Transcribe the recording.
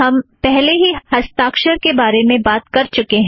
हम पहले ही हस्ताक्षर के बारे में बात कर चुकें हैं